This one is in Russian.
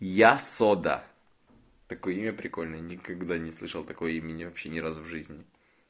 я сода такое имя прикольное никогда не слышал такой имени вообще ни разу в жизни